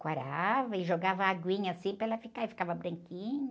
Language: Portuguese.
Quarava e jogava aguinha assim para ela ficar, e ficava branquinha.